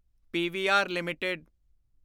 PVR LTD